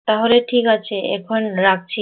তাহলে ঠিকাছে এখন রাখছি